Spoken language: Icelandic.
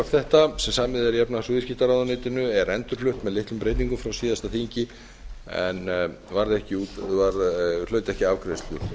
þetta sem samið er í efnahags og viðskiptaráðuneytinu er endurflutt með litlum breytingum frá síðasta þingi en hlaut ekki afgreiðslu